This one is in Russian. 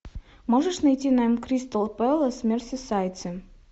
можешь найти нам кристал пэлас мерсисайдцы